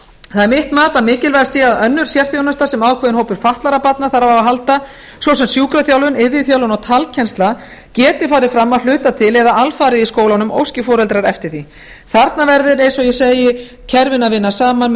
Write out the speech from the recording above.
það er mitt mat að mikilvægt sé að önnur sérþjónusta sem ákveðinn hópur fatlaðra barna þarf á að halda svo sem sjúkraþjálfun iðjuþjálfun og talkennsla geti farið fram að hluta til eða alfarið í skólunum óski foreldrar eftir því þarna verður eins og ég segi kerfin að vinna saman með